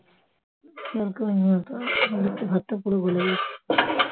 আজ একটু ভাতটা পুরো গলে গেছে